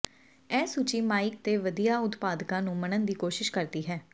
ਇਹ ਸੂਚੀ ਮਾਈਕ ਤੇ ਵਧੀਆ ਉਤਪਾਦਕਾਂ ਨੂੰ ਮੰਨਣ ਦੀ ਕੋਸ਼ਿਸ਼ ਕਰਦੀ ਹੈ